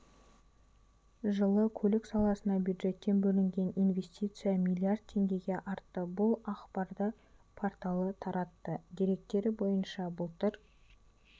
жылы көлік саласына бюджеттен бөлінген инвестиция млрд теңгеге артты бұл ақпарды порталы таратты деректері бойынша былтыр